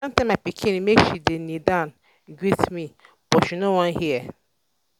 i don tell my pikin make she dey kneel down greet me but she no wan hear